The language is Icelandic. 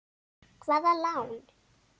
Hvaða lán?